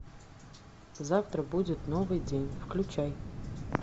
завтра будет новый день включай